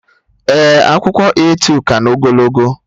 Ee, akwụkwọ A2 ka na ogologo